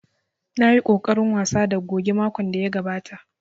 Na yi ƙoƙarin wasa da goge makon da ya gabata